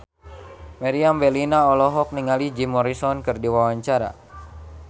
Meriam Bellina olohok ningali Jim Morrison keur diwawancara